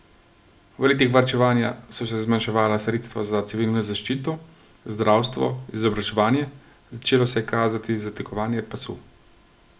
V letih varčevanja so se zmanjševala sredstva za civilno zaščito, zdravstvo, izobraževanje, začelo se je kazati zategovanje pasu.